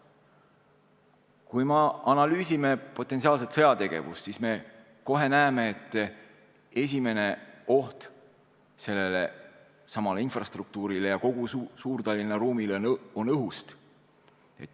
Kui me analüüsime potentsiaalset sõjategevust, siis me kohe näeme, et esimene oht sellelesamale infrastruktuurile ja kogu Suur-Tallinna ruumile tuleneb õhust.